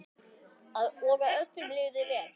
Og að öllum liði vel.